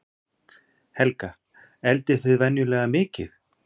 Helga: Eldið þið venjulega mikið?